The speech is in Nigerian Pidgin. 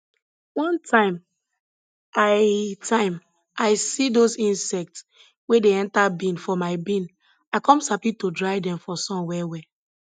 one time i time i see those insects wey dey enter bean for my bean i come sabi to dry dem for sun well well